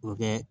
O bɛ kɛ